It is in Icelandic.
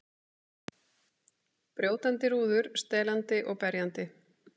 Brjótandi rúður, stelandi og berjandi.